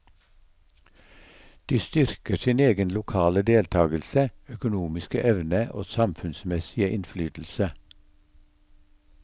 De styrker sin egen lokale deltagelse, økonomiske evne og samfunnsmessige innflytelse.